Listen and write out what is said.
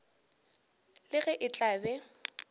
le ge e tla be